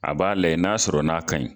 A b'a layɛ n'a sɔrɔ n'a ka ɲi.